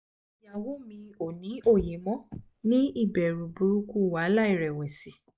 iyawo mi o ni oye mo ni iberu buruku wahala irewesi